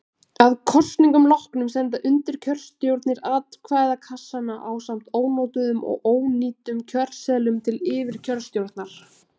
Að kosningum loknum senda undirkjörstjórnir atkvæðakassana ásamt ónotuðum og ónýtum kjörseðlum til yfirkjörstjórnar.